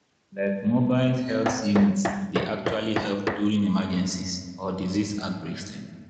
like mobile helth units dy actually help during emergencies or disease outbreaks dem.